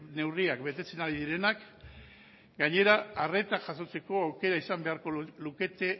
neurriak betetzen ari direnak gainera arreta jasotzeko aukera izan beharko lukete